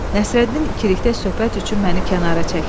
Nəsrəddin ikilikdə söhbət üçün məni kənara çəkdi.